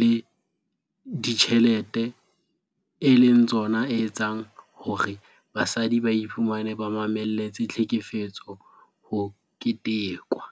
le dijthelete e leng tsona etseng hore basadi ba iphumane ba mamelletse tlhekefetso ho ketekwa.